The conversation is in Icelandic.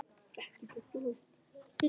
Það var á tali.